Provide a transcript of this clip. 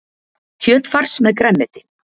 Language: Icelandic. Kjötfars með grænmeti